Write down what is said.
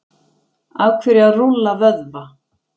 af hverju að rúlla vöðva